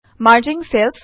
merging চেলচ